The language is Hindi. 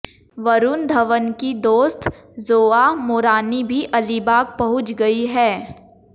वरुण धवन की दोस्त जोआ मोरानी भी अलीबाग पहुंच गई हैं